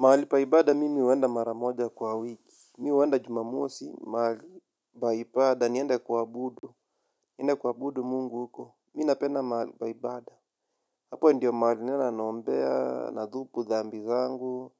Mahali pa ibada mimi huenda mara moja kwa wiki. Mimi huenda jumamosi, mahali pa ibada, niende kuabudu. Niende kuabudu Mungu huko. Mi napenda mahalipaibada. Hapo ndiyo mahali naenda naombea, nadhupu, dhambi zangu.